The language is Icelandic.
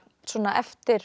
eftir